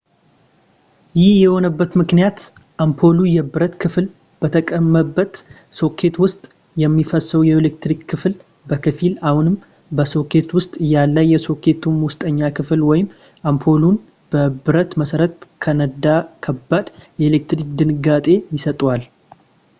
ይህ የሆነበት ምክንያት አምፖሉ የብረት ክፍል በተቀመጠበት ሶኬት ውስጥ የሚፈሰው የኤሌክትሪክ ክፍል በከፊል አሁንም በሶኬት ውስጥ እያለ የሶኬቱን ውስጠኛ ክፍል ወይም አምፖሉን የብረት መሠረት ከነካ ከባድ የኤሌክትሪክ ድንጋጤ ይሰጥዎታል